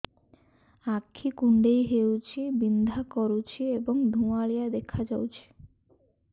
ଆଖି କୁଂଡେଇ ହେଉଛି ବିଂଧା କରୁଛି ଏବଂ ଧୁଁଆଳିଆ ଦେଖାଯାଉଛି